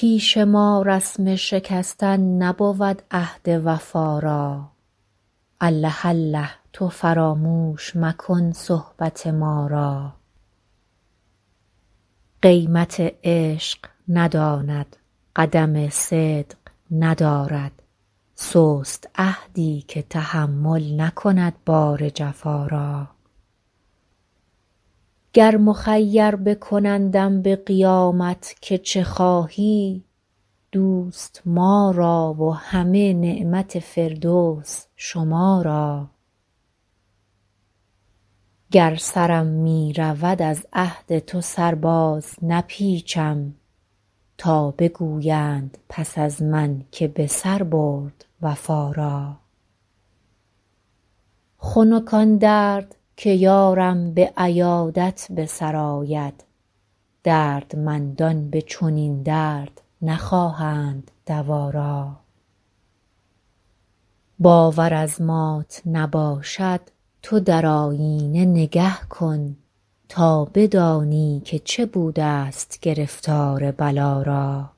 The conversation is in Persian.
پیش ما رسم شکستن نبود عهد وفا را الله الله تو فراموش مکن صحبت ما را قیمت عشق نداند قدم صدق ندارد سست عهدی که تحمل نکند بار جفا را گر مخیر بکنندم به قیامت که چه خواهی دوست ما را و همه نعمت فردوس شما را گر سرم می رود از عهد تو سر بازنپیچم تا بگویند پس از من که به سر برد وفا را خنک آن درد که یارم به عیادت به سر آید دردمندان به چنین درد نخواهند دوا را باور از مات نباشد تو در آیینه نگه کن تا بدانی که چه بودست گرفتار بلا را